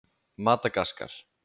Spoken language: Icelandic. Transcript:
Madagaskar